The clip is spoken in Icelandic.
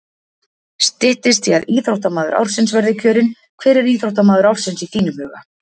Styttist í að íþróttamaður ársins verði kjörinn, hver er íþróttamaður ársins í þínum huga?